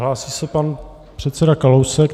Hlásí se pan předseda Kalousek.